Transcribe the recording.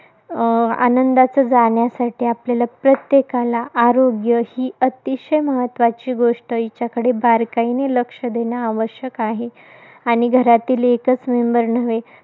आनंदाचं जाण्यासाठी, आपल्याला प्रत्येकाला, आरोग्य ही अतिशय महत्त्वाची गोष्ट आहे जिच्याकडे बारकाईने लक्ष देणं आवश्यक आहे. आणि घरातील एकच member नव्हे